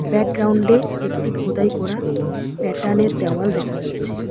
Background -এ একটি খোদাই করা প্যাটার্ন -এর দেওয়াল দেখা যাচ্ছে।